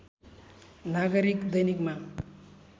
नागरिक दैनिकमा